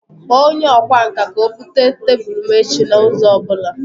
Kpọọ onye ọkwá nkà ka o bute tebụl m echi na ụzọ ọ bụla